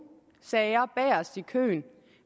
sager bagest i køen